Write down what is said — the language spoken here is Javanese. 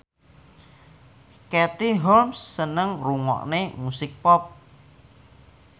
Katie Holmes seneng ngrungokne musik pop